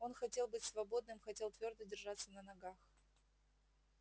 он хотел быть свободным хотел твёрдо держаться на ногах